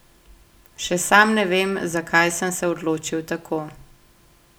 Še sam ne vem, zakaj sem se odločil tako.